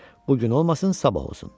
Bu gün olmasın sabah olsun.